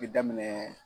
Bɛ daminɛ